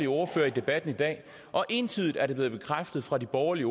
ordførere i debatten i dag og entydigt er det blevet bekræftet fra de borgerlige